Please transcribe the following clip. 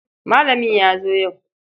Malamin ya zo yau.